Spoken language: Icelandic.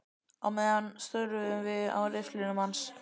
Á meðan störðum við á riffilinn hans.